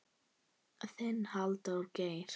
Þinn, Halldór Geir.